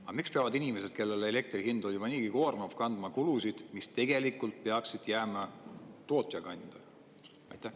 Aga miks peavad inimesed, kellele elektri hind on juba niigi koormav, kandma kulusid, mis tegelikult peaksid jääma tootja kanda?